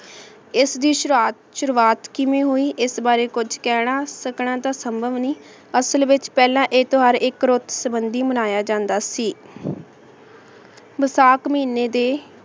ਏਸ ਦੀ ਸ਼ਰਤ ਸ਼ੁਰੁਵਾਤ ਕਿਵੇਂ ਹੋਈ ਏਸ ਬਾਰੇ ਕੁਛ ਕਹਨਾ ਸਕਣ ਤਾਂ ਸੰਭਵ ਨਹੀ ਅਸਲ ਵਿਚ ਪੇਹ੍ਲਾਂ ਆਯ ਤੇਹ੍ਵਾਰ ਏਇਕ ਰੂਟ ਸੰਭੰਦੀ ਮਨਾਯਾ ਜਾਂਦਾ ਸੀ ਵੈਸਾਖ ਮਹੀਨੇ ਦੇ